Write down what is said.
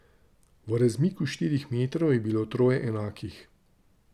V razmiku štirih metrov je bilo troje enakih.